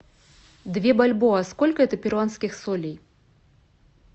две бальбоа сколько это перуанских солей